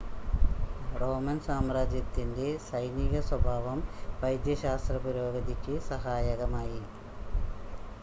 Roman സാമ്രാജ്യത്തിൻ്റെ സൈനിക സ്വഭാവം വൈദ്യശാസ്ത്ര പുരോഗതിക്ക് സഹായകമായി